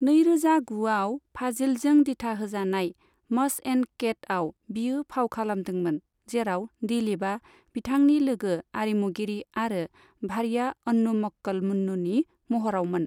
नैरोजा गुआव, फाजिलजों दिथाहोजानाय 'मस एण्ड केट' आव बियो फाव खालामदोंमोन, जेराव दिलीपआ बिथांनि लोगो आरिमुगिरि आरो भार्या अन्नु मक्कल मुन्नुनि महरावमोन।